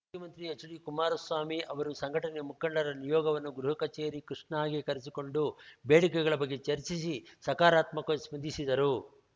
ಮುಖ್ಯಮಂತ್ರಿ ಎಚ್‌ಡಿಕುಮಾರಸ್ವಾಮಿ ಅವರು ಸಂಘಟನೆಯ ಮುಖಂಡರ ನಿಯೋಗವನ್ನು ಗೃಹಕಚೇರಿ ಕಷ್ಣಾಗೆ ಕರೆಸಿಕೊಂಡು ಬೇಡಿಕೆಗಳ ಬಗ್ಗೆ ಚರ್ಚಿಸಿ ಸಕಾರಾತ್ಮಕವಾಗಿ ಸ್ಪಂದಿಸಿದರು